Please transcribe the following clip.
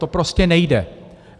To prostě nejde.